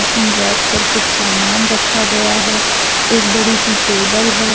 इन rack पर कुछ सामान रखा गया है एक बड़ी सी टेबल है।